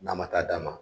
N'a ma taa d'a ma